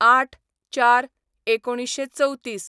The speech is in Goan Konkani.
०८/०४/१९३४